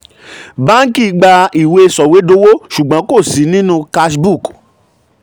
báǹkì gbà ìwé sọ̀wédowó ṣùgbọ́n kò sí nínú cash book